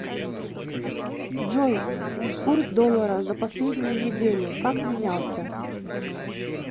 джой курс доллара за последнюю неделю как менялся